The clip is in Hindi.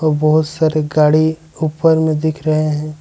बहोत सारे गाड़ी ऊपर में दिख रहे हैं।